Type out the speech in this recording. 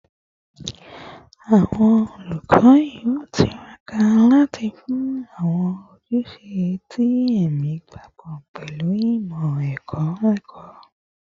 Awọn olukọ yoo tiraka lati fun awọn ojuse ti ẹmi papọ pẹlu imọ-ẹkọ ẹkọ